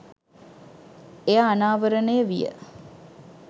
එය අනාවරණය විය